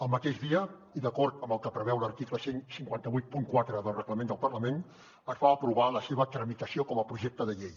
el mateix dia i d’acord amb el que preveu l’article quinze vuitanta quatre del reglament del parlament es va aprovar la seva tramitació com a projecte de llei